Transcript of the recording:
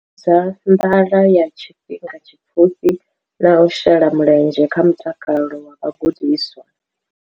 Fhungudza nḓala ya tshifhinga tshipfufhi na u shela mulenzhe kha mutakalo wa vhagudiswa.